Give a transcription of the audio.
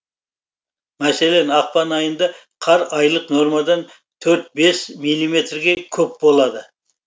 мәселен ақпан айында қар айлық нормадан төрт бес миллиметрге көп болады